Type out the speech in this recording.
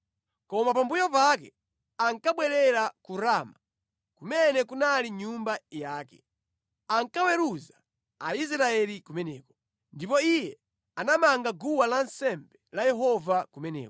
Koma pambuyo pake ankabwerera ku Rama, kumene kunali nyumba yake. Ankaweruza Aisraeli kumeneko. Ndipo iye anamanga guwa lansembe la Yehova kumeneko.